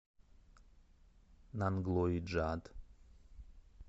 нанглои джат